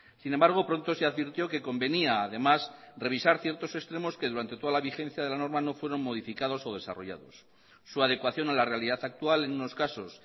sin embargo pronto se advirtió que convenía además revisar ciertos extremos que durante toda la vigencia de la norma no fueron modificados o desarrollados su adecuación a la realidad actual en unos casos